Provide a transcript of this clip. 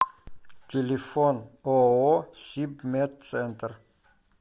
телефон ооо сибмедцентр